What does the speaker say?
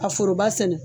A foroba sɛnɛ